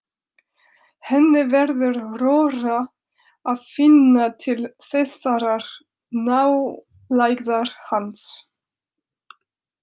Henni verður rórra að finna til þessarar nálægðar hans.